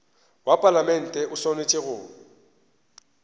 wa palamente o swanetše go